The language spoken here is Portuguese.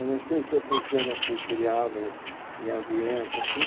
Eu não sei se é porque eu não fui criado em ambiente, assim.